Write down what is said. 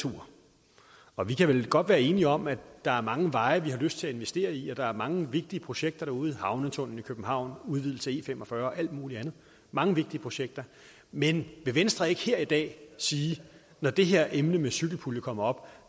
tur og vi kan vel godt være enige om at der er mange veje vi har lyst til at investere i og at der er mange vigtige projekter derude havnetunnelen i københavn udvidelse af e fem og fyrre og alt mulig andet mange vigtige projekter men vil venstre ikke her i dag sige at når det her emne med cykelpulje kommer